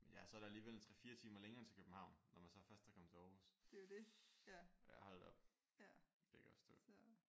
Men ja så er der alligevel en 3 4 timer længere til København når man så først er kommet til Aarhus. Hold da op. Det kan jeg godt forstå